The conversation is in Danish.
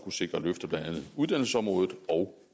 sikre løft af blandt andet uddannelsesområdet og